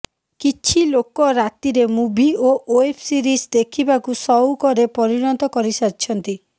କିଛି ଲୋକ ରାତିରେ ମୁଭି ଓ ଓ୍ବେବ୍ ସିରିଜ୍ ଦେଖିବାକୁ ସଉକରେ ପରିଣତ କରି ସାରିଛନ୍ତି